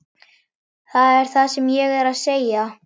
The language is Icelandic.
Það er það sem ég er að segja!